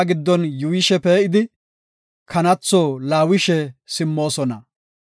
Enti katamaa giddon yuuyishe pee7idi, kanatho laawishe simmoosona.